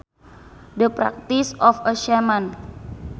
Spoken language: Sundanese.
The practice of a shaman